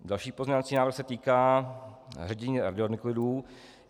Další pozměňovací návrh se týká ředění radionuklidů.